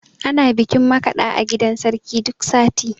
Ana bikin makaɗa a gidan sarki duk sati